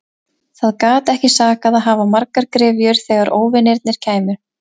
Það gat ekki sakað að hafa margar gryfjur þegar óvinirnir kæmu.